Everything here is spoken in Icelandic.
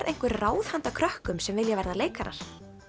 einhver ráð handa krökkum sem vilja verða leikarar